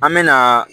An me na